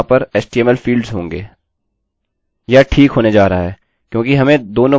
यह ठीक होने जा रहा है क्योंकि हमें दोनों मान मिल गये हैं